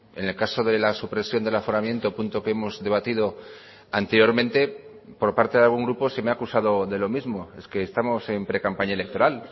en el caso de la supresión del aforamiento punto que hemos debatido anteriormente por parte de algún grupo se me ha acusado de lo mismo es que estamos en precampaña electoral